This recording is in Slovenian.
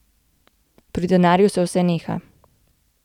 Pri denarju se vse neha.